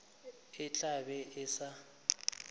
e tla be e sa